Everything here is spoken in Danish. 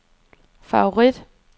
favorit